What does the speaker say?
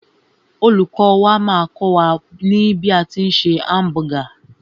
Olùkọ́ wà máà kọ́ wà ní bí a tí ń se hamburger.